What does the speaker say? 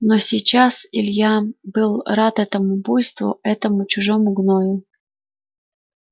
но сейчас илья был рад этому буйству этому чужому гною